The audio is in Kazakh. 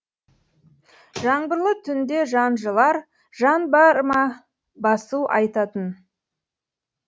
жаңбырлы түнде жан жылар жан бар ма басу айтатын